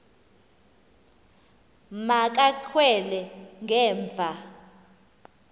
ma kakhwele ngemva